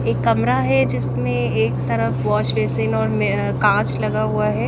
एक कमरा है जिसमें एक तरफ वॉश बेसिन और अह कांच लगा हुआ है।